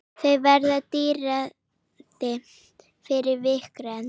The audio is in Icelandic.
Þau verða dýrari fyrir vikið.